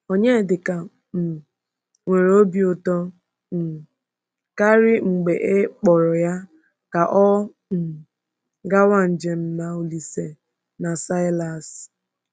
Onyedịka um nwere obi ụtọ um karị mgbe e kpọrọ ya ka ọ um gawa njem na Olíse na Silas.